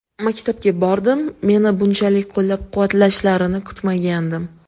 Maktabga bordim, meni bunchalik qo‘llab-quvvatlashlarini kutmagandim.